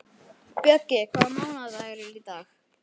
Bjöggi, hvaða mánaðardagur er í dag?